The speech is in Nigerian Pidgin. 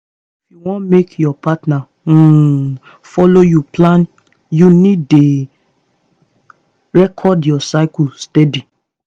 if you wan make your partner um follow you plan you need dey record your cycle steady